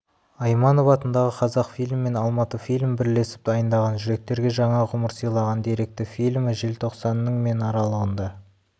айманов атындағы қазақфильм мен алматыфильм бірлесіп дайындаған жүректерге жаңа ғұмыр сыйлаған деректі фильмі желтоқсанның мен аралығында